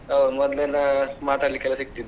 ಹೌದು ಮೊದ್ಲು ಎಲ್ಲ ಮಾತಾಡ್ಲಿಕ್ಕೆ ಎಲ್ಲ ಸಿಕ್ತಿದ್ವಿ.